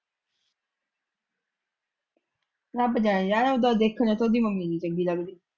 ਰੱਬ ਜਾਣੇ ਜਾਏ ਉੱਦਾ ਦੇਖਣੇ ਤੋਂ ਉਹਦੀ ਮੰਮੀ ਨੀ ਚੰਗੀ ਲੱਗਦੀ।